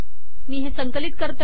मी हे संकलित करते